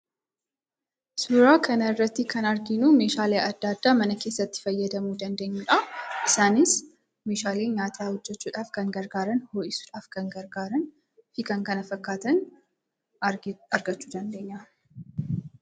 sura kan irratti kan arginu meeshaalee adda adda mana keessatti fayyadamu dandeenyuudha. isaanis meeshalee nyaata hojjachuudhaaf kan gargaaran, ho'isuudhaaf kan gargaaran fi kan kana fakkaatan argachuu dandeenya